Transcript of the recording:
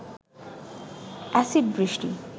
acid বৃষ্টি